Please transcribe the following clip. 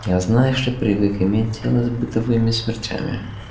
я знаешь ли привык иметь дело с бытовыми смертями